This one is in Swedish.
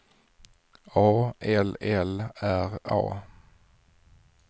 A L L R A